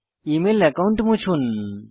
email account মুছুন